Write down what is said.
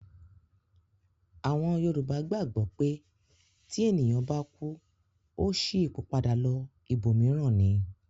Àwọn Yorùbá gbàgbọ́ pé tí ènìyàn bá kú, ó ṣí ipò padà lọ ibòmíràn ni